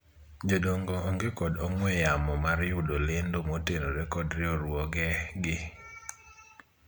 jodongo onge kod ong'we yamo mar yudo lendo motenore kod riwruoge gi